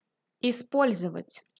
использовать